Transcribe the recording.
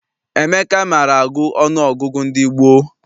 Emeka maara agụ ọnụọgụgụ ndị gboo.